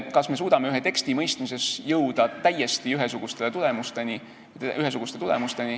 Kas me suudame ühe teksti mõistmises jõuda täiesti ühesugustele tulemustele?